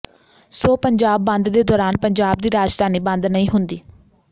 ਸੋ ਪੰਜਾਬ ਬੰਦ ਦੇ ਦੌਰਾਨ ਪੰਜਾਬ ਦੀ ਰਾਜਧਾਨੀ ਬੰਦ ਨਹੀਂ ਹੁੰਦੀ